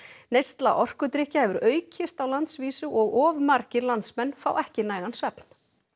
neysla orkudrykkja hefur aukist á landsvísu og of margir landsmenn fá ekki nægan svefn